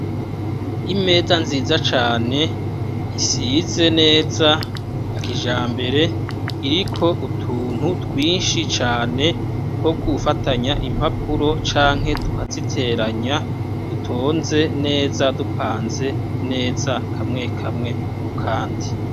Imeza nziza cane isize neza ya kijambere iriko utuntu twinshi cane two gufatanya impapuro canke tukaziteranya, dutonze neza, dupanze neza, kamwe kamwe ku kandi.